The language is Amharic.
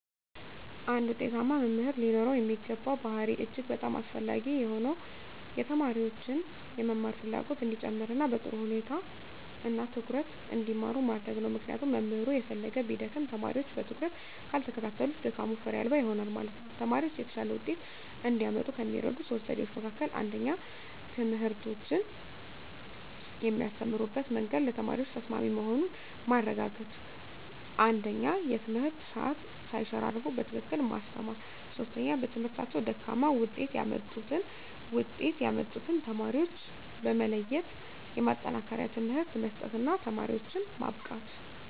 አንድ ውጤታማ መምህር ሊኖረው የሚገባ ባሀሪ እጅግ በጣም አስፈላጊ የሆነው የተማሪዎችን የመማር ፍላጎት እንዲጨመር እና በጥሩ ሁኔታ እና ትኩረት እንዲማሩ ማድረግ ነው ምክንያቱም መምህሩ የፈለገ ቢደክም ተማሪወች በትኩረት ካልተከታተሉት ድካሙ ፋሬ አልባ ይሆናል ማለት ነው። ተማሪወች የተሻለ ወጤት እንዲያመጡ ከሚረዱ 3 ዘዴዎች መካከል 1ኛ ትምህርቶችን የሚያስተምሩበት መንግድ ለተማሪዎች ተሰማሚ መሆኑን ማረጋገጥ 1ኛ የትምህርት ሰአት ሳይሸራረፉ በትክክል ማስተማር 3ኛ በትምህርታቸው ደካማ ውጤት ያመጡትን ውጤት ያመጡትን ተማሪዎች በመለየት የማጠናከሪያ ትምህርት መስጠት እና ተማሪዎችን ማብቃት።